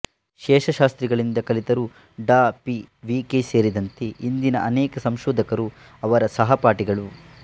ಶೇಷಶಾಸ್ತ್ರಿಗಳಿಂದ ಕಲಿತರು ಡಾ P V K ಸೇರಿದಂತೆ ಇಂದಿನ ಅನೇಕ ಸಂಶೋಧಕರು ಅವರ ಸಹಪಾಠಿಗಳು